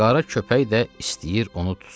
Qara köpək də istəyir onu tutsun.